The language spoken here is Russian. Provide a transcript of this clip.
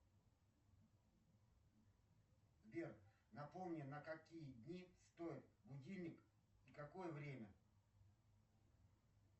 сбер напомни на какие дни стоит будильник на какое время